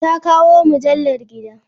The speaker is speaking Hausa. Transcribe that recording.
Ta kawo mujallar gida.